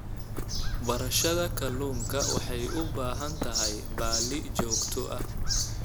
Beerashada kalluunka waxay u baahan tahay balli joogto ah.